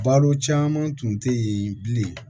Balo caman tun tɛ yen bilen